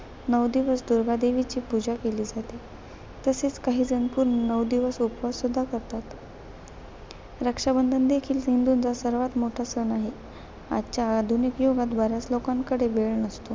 नऊ दिवस दुर्गा देवीची पूजा केली जाते. तसेच, काही जण पूर्ण नऊ दिवस उपवास सुद्धा करतात. रक्षाबंधन देखील हिंदूंचा सर्वात मोठा सण आहे. आजच्या आधुनिक युगात बर्‍याच लोकांकडे वेळ नसतो.